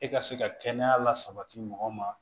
E ka se ka kɛnɛya la sabati mɔgɔ ma